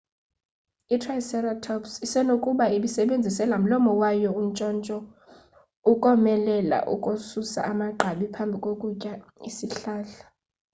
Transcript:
i-triceratops isenokuba ibisebenzise lamlomo wayo untshontsho ukomelela ukususa amagqabi phambi kokutya isihlahla